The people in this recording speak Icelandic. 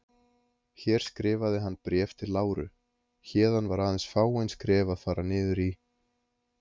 Hér skrifaði hann Bréf til Láru, héðan var aðeins fáein skref að fara niður í